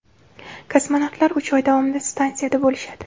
Kosmonavtlar uch oy davomida stansiyada bo‘lishadi.